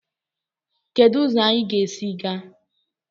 Kedu ụzọ anyị ga-esi gaa?